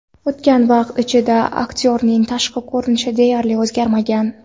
O‘tgan vaqt ichida aktyorning tashqi ko‘rinishi deyarli o‘zgarmagan.